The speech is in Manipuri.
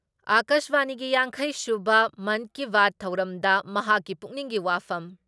ꯑꯀꯥꯁꯕꯥꯅꯤꯒꯤ ꯌꯥꯡꯈꯩ ꯁꯨꯕ ꯃꯟꯀꯤꯕꯥꯠ ꯊꯧꯔꯝꯗ ꯃꯍꯥꯛꯀꯤ ꯄꯨꯛꯅꯤꯡꯒꯤ ꯋꯥꯐꯝ